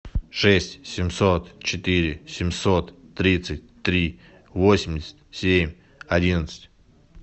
шесть семьсот четыре семьсот тридцать три восемьдесят семь одиннадцать